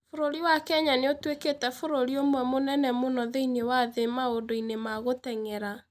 Bũrũri wa Kenya nĩ ũtuĩkĩte bũrũri ũmwe mũnene mũno thĩinĩ wa thĩ maũndũ-inĩ ma gũteng'era.